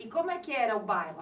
E como é que era o bairro?